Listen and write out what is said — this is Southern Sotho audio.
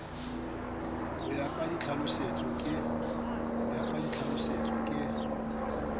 ho ya ka ditlhalosetso ke